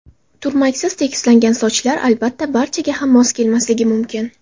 Turmaksiz, tekislangan sochlar, albatta, barchaga ham mos kelmasligi mumkin.